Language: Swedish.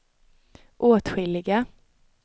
åtskilliga